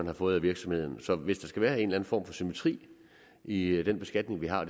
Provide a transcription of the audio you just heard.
har fået af virksomheden så hvis der skal være en eller anden form for symmetri i i den beskatning vi har